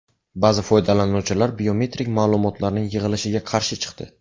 Ba’zi foydalanuvchilar biometrik ma’lumotlarning yig‘ilishiga qarshi chiqdi.